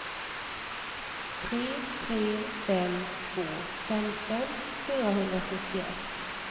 tre tre fem två femton fyrahundrasjuttioett